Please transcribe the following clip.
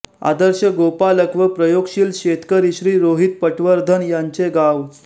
आदर्श गोपालक व प्रयोगशील शेतकरी श्री रोहित पटवर्धन यांचे गाव